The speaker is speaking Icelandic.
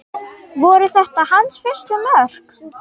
Voru þetta hans fyrstu mörk?